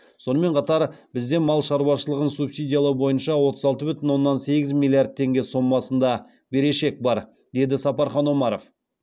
сонымен қатар бізде мал шаруашылығын субсидиялау бойынша отыз алты бүтін оннан сегіз миллиард теңге сомасында берешек бар деді сапархан омаров